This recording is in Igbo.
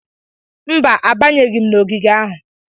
Mba, abanyeghị m n'ogige ahụ.